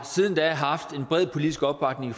siden da haft en bred politisk opbakning